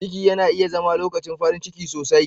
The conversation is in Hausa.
Ciki yana iya zama lokacin farin ciki sosai.